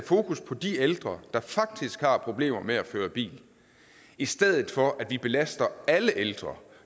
fokus på de ældre der faktisk har problemer med at føre bil i stedet for at vi belaster alle ældre